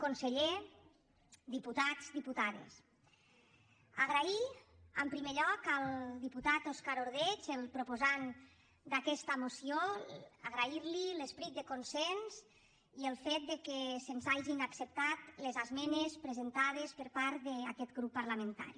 conseller diputats diputades agrair en primer lloc al diputat òscar ordeig el proposant d’aquesta moció l’esperit de consens i el fet que se’ns hagin acceptat les esmenes presentades per part d’aquest grup parlamentari